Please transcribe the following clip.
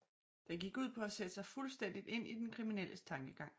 Den gik ud på at sætte sig fuldstændigt ind i den kriminelles tankegang